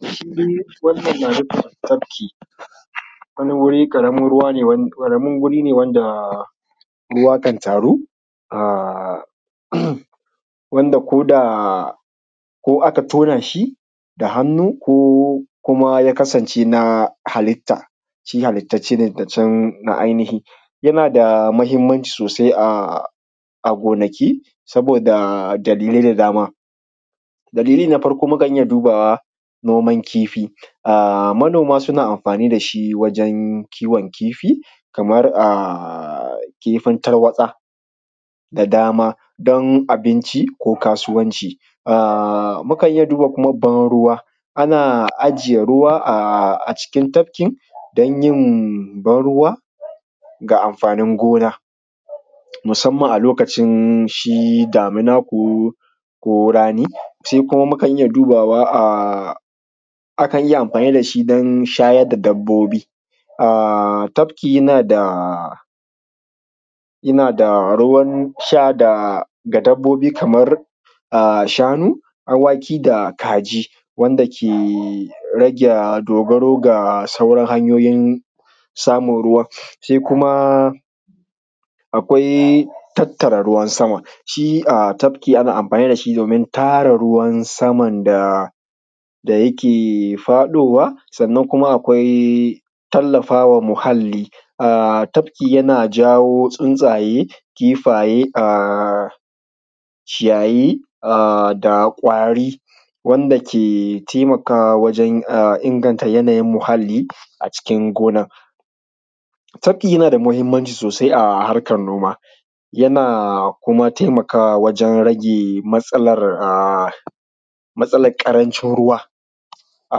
Shi wannan na nufin tafki wani wuri karamin ruwa ne wan karamin guri ne wanda ruwa kan taru a um wanda ko da ko aka tonashi da hannu ko kuma ya kasance na halitta chi halitta chi ne dacan na ai nihi. Yanada mahimmanci sosai a a gonaki saboda dalilai da dama. Dalili na farko mukan iyya dubawa noman kifi um manoma suna amfani dashi wajan kiwon kifi kamar a kifin tarwatsa da dama. Dan abinci ko kasuwanci. um mukan iyya duba kuma ban ruwa ana ajiye ruwa um a cikin tafkin danyin ban ruwa ga amfanin gona musamman a lokacin shi damina ko ko rani. Sai kuma mukan iyya dubawa um akan iyya amfani dashi dan shayar da dabbobi um tafki yanada yanada ruwan sha da ga dabbobi kamar um shanu, awaki da kaji wanda ke rage dogaro ga sauran hanyoyin samun ruwa. Sai kuma akwai tattara ruwan sama shi um tafki ana amfani dashi domin tara ruwan saman da da yake faɗowa, sannan kuma akwai tallafawa muhalli um tafki yana jawo tsuntsaye, kifaye um ciyayi um da kwari wanda ke taimakawa wajen um inganta yanayin muhalli a cikin gonan. Tafki yanada mahimmanci sosai a harkan noma yana kuma taimakawa wajen rage matsalar um matsalan ƙarancin ruwa a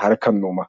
harkan noma.